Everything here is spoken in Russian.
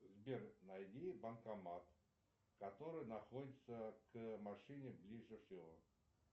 сбер найди банкомат который находится к машине ближе всего